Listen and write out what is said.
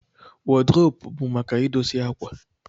wọd rop bu maka idosie akwa.